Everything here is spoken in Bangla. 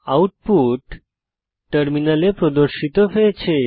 আউটপুট টার্মিনালে প্রদর্শিত হয়েছে